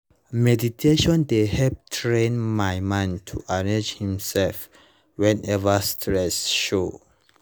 meditation dey help train my mind to arrange himself whenever stress show